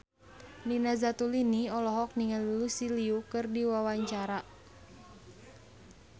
Nina Zatulini olohok ningali Lucy Liu keur diwawancara